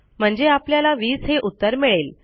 म्हणजे आपल्याला 20 हे उत्तर मिळेल